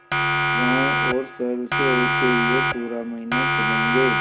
गाँवों और शहरों से होते हुए पूरा महीना चलेंगे